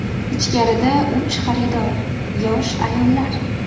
Ichkarida uch xaridor, yosh ayollar.